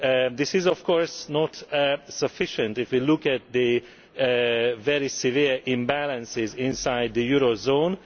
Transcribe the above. This is of course not sufficient if we look at the very severe imbalances inside the eurozone.